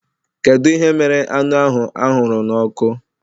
Kedu ihe mere anụ ahụ anwụrụ n'ọkụ?